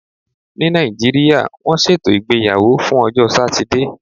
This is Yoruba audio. Ní Nàìjíríà, wọ́n ṣètò ìgbéyàwó fún ọjọ́ Satide.